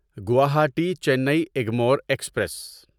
Guwahati Chennai Egmore express